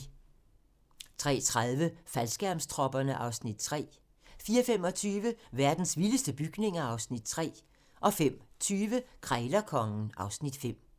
03:30: Faldskærmstropperne (Afs. 3) 04:25: Verdens vildeste bygninger (Afs. 3) 05:20: Krejlerkongen (Afs. 5)